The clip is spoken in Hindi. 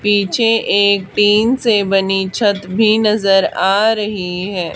पीछे एक टिन से बनी छत भी नजर आ रही है।